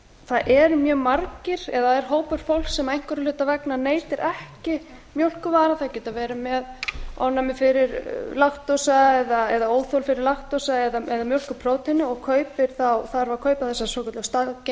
það eru mjög margir eða það er hópur fólks sem einhverra hluta vegna neytir ekki mjólkurvara þau geta verið með ofnæmi fyrir laktósa eða óþol fyrir laktósa eða mjólkurpróteini og þarf að kaupa